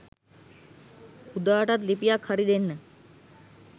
උදාටත් ලිපියක් හරි දෙන්න